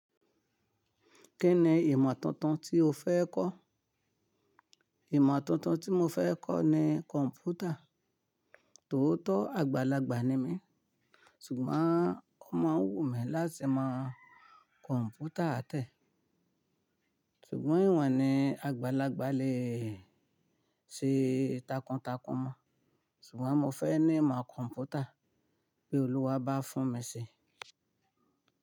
Kí ni ìmọ̀ tuntun tí o fẹ́ kọ́? Ìmọ̀ tuntun tí mo fẹ́ kọ́ ni kọ̀npútà, tòótọ́ àgbàlagbà ni mí ṣùgbọ́n ó mo ń wù mi láti mọ kọ̀npútà tẹ́. Ṣùgbọ́n ìwọ̀n ni àgbàlagbà le ṣe takuntakun mọ́. Ṣùgbọ́n mo fẹ́ ní ìmọ̀ kọ̀npútà bí Olúwa bá fún mi ṣe.